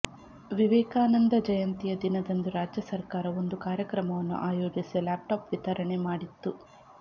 ವಿವೇಕಾನಂದ ಜಯಂತಿಯ ದಿನದಂದು ರಾಜ್ಯ ಸರ್ಕಾರ ಒಂದು ಕಾರ್ಯಕ್ರಮವನ್ನು ಆಯೋಜಿಸಿ ಲ್ಯಾಪ್ ಟಾಪ್ ವಿತರಣೆ ಮಾಡಿತ್ತು